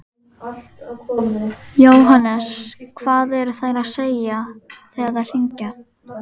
Jóhannes: Hvað eru þær að segja þegar þær hringja?